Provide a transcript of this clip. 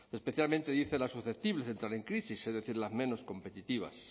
especialmente dice las susceptibles de entrar en crisis es decir las menos competitivas